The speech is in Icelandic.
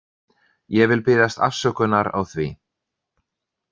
Ég vil biðjast afsökunar á því.